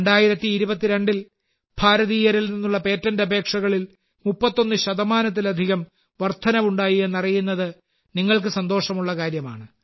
2022ൽ ഭാരതീയരിൽ നിന്നുള്ള പേറ്റന്റ് അപേക്ഷകളിൽ 31 ശതമാനത്തിലധികം വർധനവുണ്ടായി എന്നറിയുന്നത് നിങ്ങൾക്ക് സന്തോഷകരമായ കാര്യമാണ്